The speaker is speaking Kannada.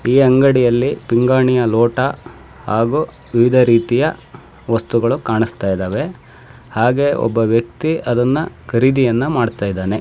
ಈ ಅಂಗಡಿಯಲ್ಲಿ ಪಿಂಗಾಣಿಯ ಲೋಟ ಹಾಗು ವಿವಿಧ ರೀತಿಯ ವಸ್ತುಗಳು ಕಾಣಿಸ್ತಾಯಿದ್ದಾವೆ ಹಾಗೆ ಒಬ್ಬವ್ಯಕ್ತಿ ಅದನ್ನ ಖರೀದಿ ಮಾಡ್ತಾಯಿದ್ದಾನೆ